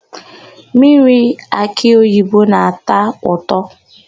Mmiri akịoyibo na-ata ụtọ.